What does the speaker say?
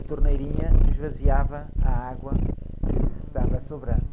a torneirinha esvaziava a água que estava sobrando.